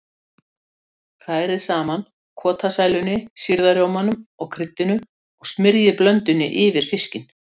Hrærið saman kotasælunni, sýrða rjómanum og kryddinu og smyrjið blöndunni yfir fiskinn.